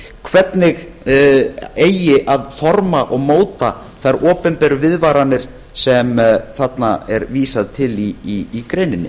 hvernig eigi að forma og móta þær opinberu viðvaranir sem þarna er vísað til í greininni